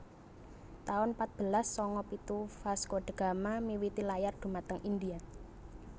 taun patbelas sanga pitu Vasco da Gama miwiti layar dhumateng India